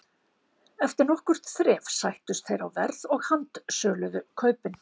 Eftir nokkurt þref sættust þeir á verð og handsöluðu kaupin.